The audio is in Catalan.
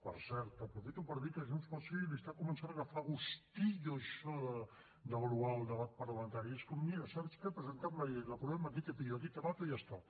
per cert aprofito per dir que junts pel sí està començant a agafar gustillo a això de devaluar el debat parlamentari és com mira saps què presentem la llei l’aprovem aquí te pillo aquí te mato i ja està